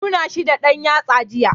Ya na nuna shi da ɗan yatsa jiya.